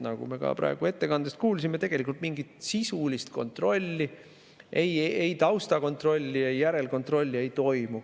Nagu me ka praegu ettekandest kuulsime, tegelikult mingit sisulist kontrolli, ei taustakontrolli ega järelkontrolli, ei toimu.